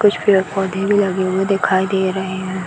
कुछ पेड़-पोधे भी लगे हुए दिखाई दे रहे हैं।